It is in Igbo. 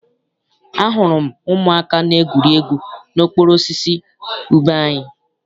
Ahụrụ m ụmụaka na-egwuri egwu n'okpuru osisi ube anyị.